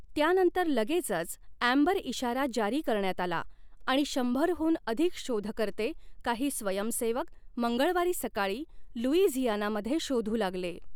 त्यानंतर लगेचच अँबर इशारा जारी करण्यात आला आणि शंभर हून अधिक शोधकर्ते, काही स्वयंसेवक, मंगळवारी सकाळी लुईझियानामध्ये शोधू लागले.